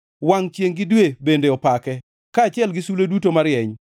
Wangʼ chiengʼ gi dwe bende opake, kaachiel gi sulwe duto marieny.